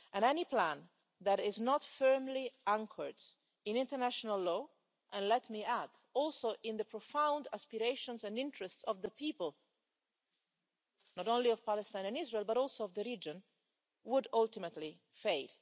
And any plan that is not firmly anchored in international law and let me add, also in the profound aspirations and interests of the people, not only of Palestine and Israel but also of the region would ultimately fail.